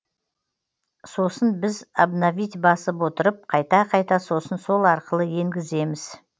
сосын біз обновить басып отырып қайта қайта сосын сол арқылы енгіземіз